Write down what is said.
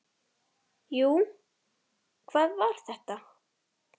Jú, hvað var þetta?